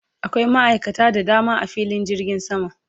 Akwai ma'aikata da dama a filin jirgin sama